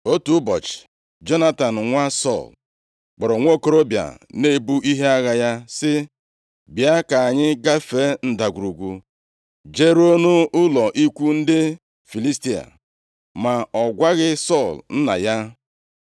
Otu ụbọchị, Jonatan nwa Sọl, kpọrọ nwokorobịa na-ebu ihe agha ya sị, “Bịa, ka anyị gafee ndagwurugwu jeruo nʼụlọ ikwu ndị Filistia.” Ma ọ gwaghị Sọl nna ya.